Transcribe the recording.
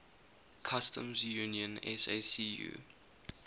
customs union sacu